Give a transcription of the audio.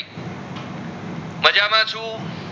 એમાં છું